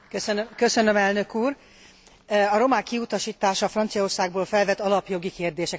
A romák kiutasítása Franciaországból felvet alapjogi kérdéseket, alapvető értékek kérdéseit is.